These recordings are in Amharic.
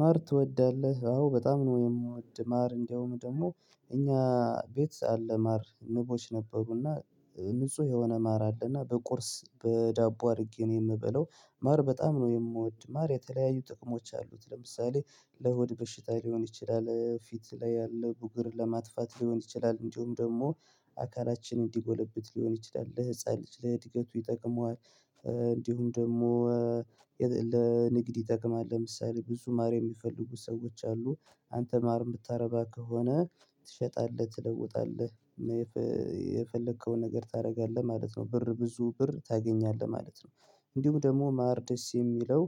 ማር ትወዳለህ አዎ በጣም ነው። የምወድ ማር እንደውም ደግሞ እኛ ቤት አለ ማር ንቦች ነበሩና ንጹህ የሆነ ማር አለና በቁርስ በዳቦ አድርጌ ነው የምበላው። ማር በጣም ነው የምወድ ማር የተለያዩ ጥቅሞች አሉት። ለምሳሌ ለሆድ በሽታ ሊሆን ይችላል ፊት ላይ ያለ ቡግር ለማጥፋት ሊሆን ይችላል። እንዲሁም ደግሞ አካላችን እንዲጎለብት ሊሆን ይችላል ለህፃን ልጅ ለእድገቱ ይጠቅመዋል። እንዲሁም ደግሞ ለንግድ ይጠቅማል። ለምሳሌ ብዙ ማር የሚፈልጉ ሰዎች አሉ። አንተ ማር የምታረባ ከሆነ ትሸጣለህ ትለውጣለህ። ነገር ታደርጋለህ ማለት ነው ብር ብዙ ብር ታገኛለህ ማለት ነው። እንዲሁ ደግሞ ማር ደስ የሚለው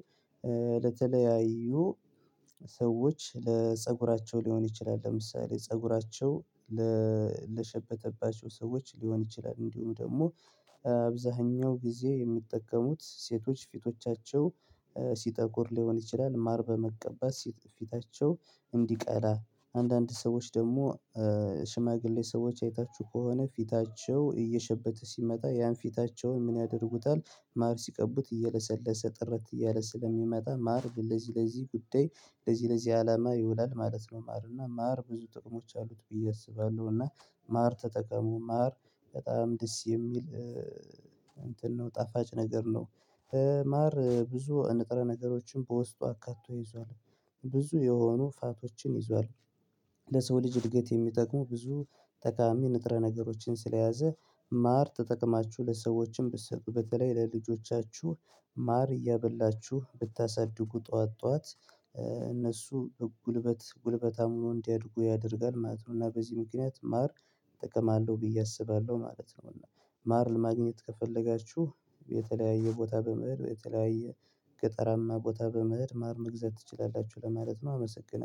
ለተለያዩ ሰዎች ለፀጉራቸው ሊሆን ይችላል። ለምሳሌ ፀጉራቸው ለሸበተባቸው ሰዎች ሊሆን ይችላል። እንዲሁም ደግሞ አብዛኛው ጊዜ የሚጠቀሙት ሴቶች ፊቶቻቸው ሲጠቁር ሊሆን ይችላል። ማር በመቀባት ፊታቸው እንዲቀላ አንዳንድ ሰዎች ደግሞ ሽማግሌ ሰዎች አይታችሁ ከሆነ ፊታቸው እየሸበተ ሲመጣ ያን ፊታቸውን ምን ያደርጉታል? ማር ሲቀቡት እየለሰለሰ ጥረት እያለ ስለሚመጣ ማር ለዚህ ለዚህ ጉዳይ ለዚህ ለዚህ አላማ ይውላል ማለት ነው። ማር እና ማር ብዙ ጥቅሞች አሉት ብዬ አስባለሁ። እና ማር ተጠቀሙ ማር በጣም ደስ የሚል እንትን ነው ጣፋጭ ነገር ነው። ማር ብዙ ንጥረ ነገሮችን በውስጡ አካቶ ይዟል ብዙ የሆኑ ፋቶችን ይዟል። ለሰው ልጅ እድገት የሚጠቅሙ ብዙ ጠቃሚ ንጥረ ነገሮችን ስለያዘ ማር ተጠቅማችሁ ለሰዎችም ብትሰጡ በተለይ ለልጆቻችሁ ማር እያበላችሁ ብታሳድጉ ጠዋት ጠዋት እነሱ ጉልበት ጉልበታም ሆነው እንዲያድጉ ያደርጋል ማለት ነው። እና በዚህ ምክንያት ማር ጥቅም አለው ብዬ አስባለሁ ማለት ነው። ማር ለማግኘት ከፈለጋችሁ የተለያየ ቦታ በመሄድ የተለያየ ገጠራማ ቦታ በመሄድ ማር መግዛት ትችላላችሁ ለማለት ነው። አመሰግናለሁ